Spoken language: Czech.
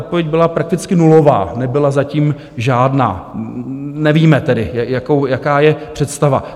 Odpověď byla prakticky nulová, nebyla zatím žádná, nevíme tedy, jaká je představa.